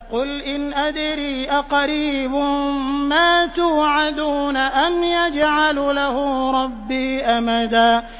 قُلْ إِنْ أَدْرِي أَقَرِيبٌ مَّا تُوعَدُونَ أَمْ يَجْعَلُ لَهُ رَبِّي أَمَدًا